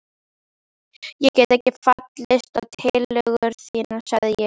Ég get ekki fallist á tillögur þínar sagði ég.